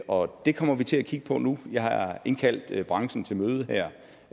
og det kommer vi til at kigge på nu jeg har indkaldt branchen til møde her